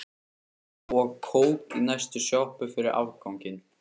Og kók í næstu sjoppu fyrir afganginn.